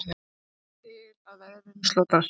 Þangað til að veðrinu slotar.